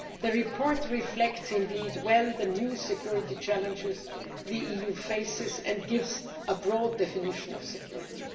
The report reflects well the new security challenges the EU faces and gives a broad definition of security.